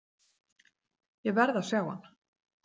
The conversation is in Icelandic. Ég verð að sjá hann.